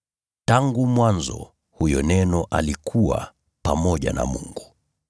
Tangu mwanzo huyo Neno alikuwa pamoja na Mungu.